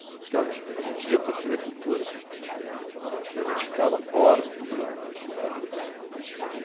Porque as a gente ia para a Tê Vê Cultura e a gente ficava horas dublando as cenas.